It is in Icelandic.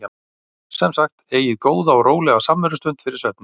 Sem sagt: Eigið góða og rólega samverustund fyrir svefninn.